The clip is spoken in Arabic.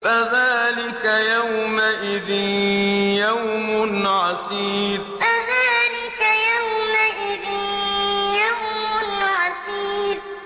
فَذَٰلِكَ يَوْمَئِذٍ يَوْمٌ عَسِيرٌ فَذَٰلِكَ يَوْمَئِذٍ يَوْمٌ عَسِيرٌ